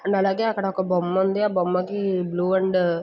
And అలాగే అక్కడొక బొమ్మ ఉంది. ఆ బొమ్మ కి బ్లూ అండ్ --